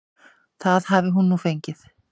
Það hafi hún nú fengið.